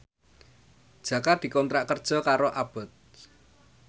Jaka dikontrak kerja karo Abboth